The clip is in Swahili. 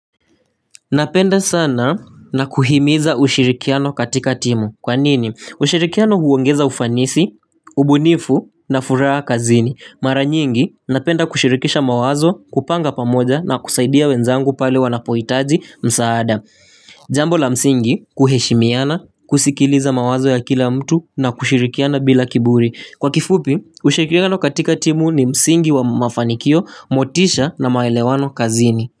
Napenda sana na kuhimiza ushirikiano katika timu. Kwanini? Ushirikiano huongeza ufanisi, ubunifu na furaa kazini. Mara nyingi napenda kushirikisha mawazo kupanga pamoja na kusaidia wenzangu pale wanapohitaji msaada. Jambo la msingi kuheshimiana, kusikiliza mawazo ya kila mtu na kushirikiana bila kiburi. Kwa kifupi, ushirikiano katika timu ni msingi wa mafanikio motisha na maelewano kazini.